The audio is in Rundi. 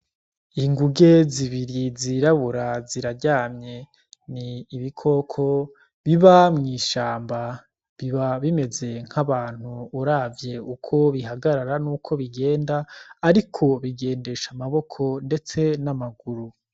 Inguge zibiri zirabura ziraryamye ni ibikoko biba mw'ishamba biba bimeze nk'abantu uravye uko bihagarara n'uko bigenda, ariko bigendesha amaboko, ndetse n'amaguru.